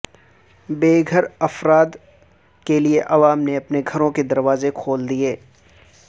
بے گھر افراد کیلئے عوام نے اپنے گھروں کے دروازے کھول دئیے